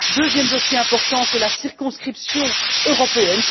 Deuxième dossier important, c'est la circonscription européenne.